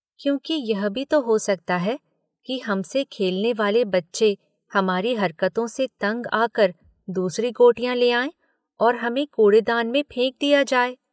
क्योंकि यह भी तो हो सकता है कि हमसे खेलने वाले बच्चे हमारी हरकतों से तंग आकर दूसरी गोटियाँ ले आएँ और हमें कूड़ेदान में फेंक दिया जाए?